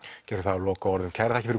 gerum það að lokaorðunum kærar þakkir